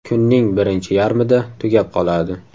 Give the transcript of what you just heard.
Kunning birinchi yarmida tugab qoladi.